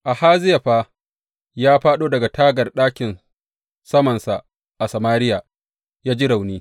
Ahaziya fa ya fāɗo daga tagar ɗakin samansa a Samariya ya ji rauni.